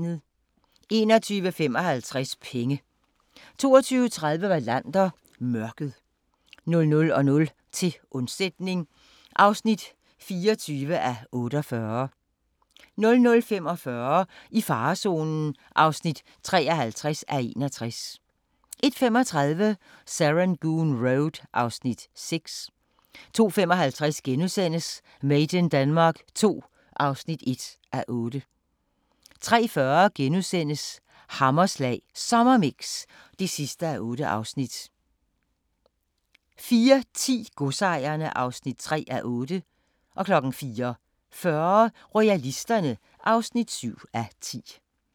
21:55: Penge 22:30: Wallander: Mørket 00:00: Til undsætning (24:48) 00:45: I farezonen (53:61) 01:35: Serangoon Road (Afs. 6) 02:55: Made in Denmark II (1:8)* 03:40: Hammerslag Sommermix (8:8)* 04:10: Godsejerne (3:8) 04:40: Royalisterne (7:10)